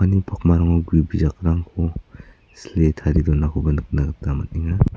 pakmarango gue bijakrangko sile tarie donakoba nikna gita man·enga.